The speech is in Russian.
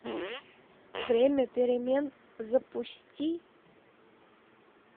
время перемен запусти